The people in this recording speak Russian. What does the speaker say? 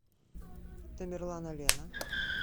тамерланалена